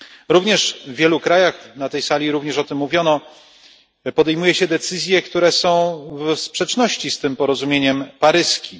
Również w wielu krajach, na tej sali również o tym mówiono, podejmuje się decyzje, które są w sprzeczności z porozumieniem paryskim.